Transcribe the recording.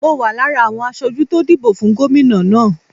Mo wà lára àwọn aṣojú tó dìbò fún gómìnà náà.